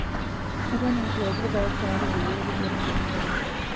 Eton etu eaku irpaek tayari pee epiki orkombe.